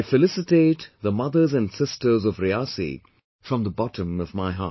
I felicitate the mothers and sisters of Riyasi from the bottom of my heart